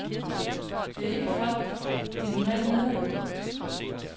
Det er ikke folk, de normalt møder.